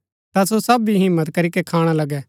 ता सो सब भी हिम्मत करीके खाणा लगै